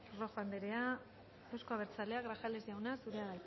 rojo anderea euzko abertzaleak grajales jauna zurea